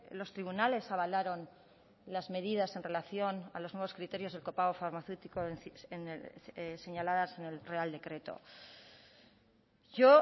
los tribunales avalaron las medidas en relación a los nuevos criterios del copago farmacéutico señaladas en el real decreto yo